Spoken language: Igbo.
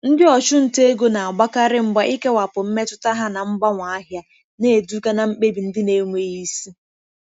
Ndị ọchụnta ego na-agbakarị mgba ikewapụ mmetụta ha na mgbanwe ahịa, na-eduga na mkpebi ndị na-enweghị isi.